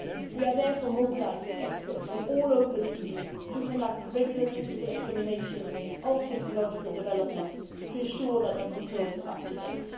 We are therefore mobilising experts from all over the EU to conduct regular technical examinations of technological developments to ensure that our controls are up to date.